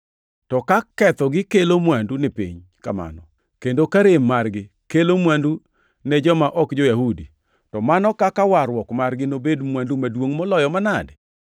To ka kethogi kelo mwandu ni piny kamano kendo ka rem margi kelo mwandu ne joma ok jo-Yahudi, to mano kaka warruok margi nobed mwandu maduongʼ moloyo manade?